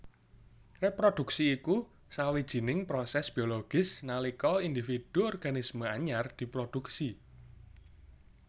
Réprodhuksi iku sawjining prosès biologis nalika individu organisme anyar diprodhuksi